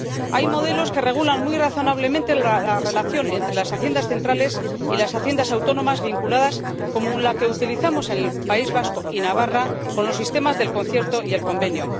Hay modelos que regulan muy razonablemente la relación entre las haciendas centrales y las haciendas autónomas vinculadas, como el que utilizamos en el País Vasco y Navarra con los sistemas del concierto y el convenio.